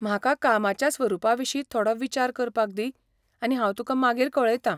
म्हाका कामाच्या स्वरूपा विशीं थोडो विचार करपाक दी आनी हांव तुका मागीर कळयतां.